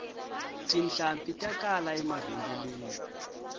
tihlampfi ta kala emavhengeleni